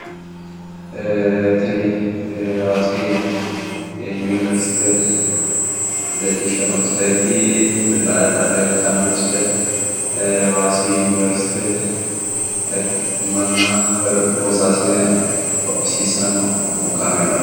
Tini hawaasi yuniversite leellishshanno misileeti. Leeltanno misile hawaasi yuniversite manna woyi loosaasine hodhisiisanno kaameelaati.